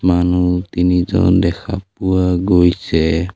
মানুহ তিনিজন দেখা পোৱা গৈছে।